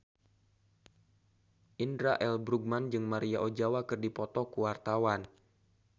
Indra L. Bruggman jeung Maria Ozawa keur dipoto ku wartawan